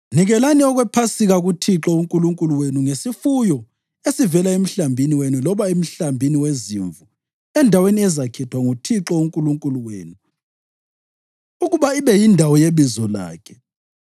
Nikelani okwePhasika kuThixo uNkulunkulu wenu ngesifuyo esivela emhlambini wenu loba emhlambini wezimvu endaweni ezakhethwa nguThixo uNkulunkulu wenu ukuba ibe yindawo yebizo lakhe.